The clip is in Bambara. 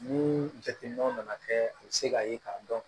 Ni jateminɛw nana kɛ se k'a ye k'a dɔn